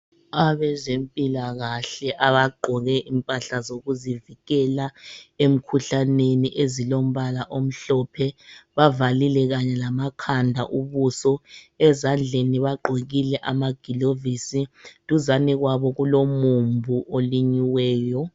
Abezempilakahle abaqoke impahla zokuzivikela emkhuhlaneni ezilombala omhlophe, bavalile kanye lama khanda ubuso ezandleni baqokile ama gilovisi. Duzane kwabo kulomumbu olinyiweyo.